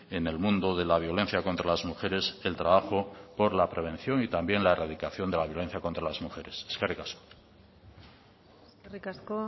en el mundo de la violencia contra las mujeres el trabajo por la prevención y también la erradicación de la violencia contra las mujeres eskerrik asko eskerrik asko